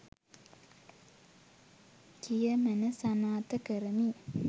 කියමන සනාථ කරමි